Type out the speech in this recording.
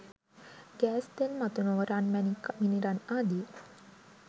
gas තෙල් මතු නොව රන් මැණික් මිනිරන් ආදී